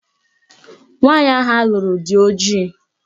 Nwaanyi ahụ alụrụ dị ojii